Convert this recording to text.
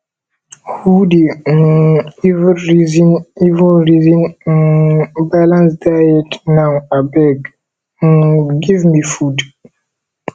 who dey um even resin even resin um balance diet now abeg um give me food